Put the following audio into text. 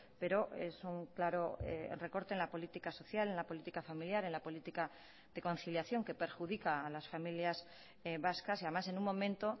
pero es un claro recorte en la política social en la política familiar en la política de conciliación que perjudica a las familias vascas y además en un momento